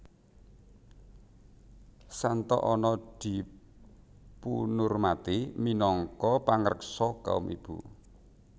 Santa Anna dipunurmati minangka pangreksa kaum ibu